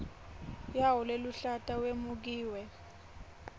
yawo leluhlata wemukiwe